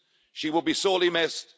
She will be sorely missed.